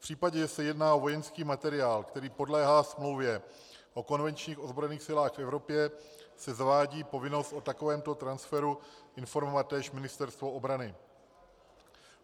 V případě, že se jedná o vojenský materiál, který podléhá Smlouvě o konvenčních ozbrojených silách v Evropě, se zavádí povinnost o takovém transferu informovat též Ministerstvo obrany.